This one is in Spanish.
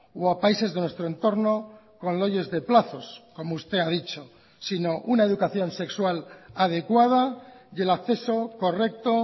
o a países de nuestro entorno con leyes de plazos como usted ha dicho sino una educación sexual adecuada y el acceso correcto